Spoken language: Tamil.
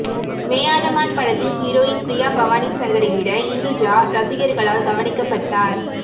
மேயாத மான் படத்தின் ஹீரோயின் ப்ரியா பவானி சங்கரை விட இந்துஜா ரசிகர்களால் கவனிக்கப்பட்டார்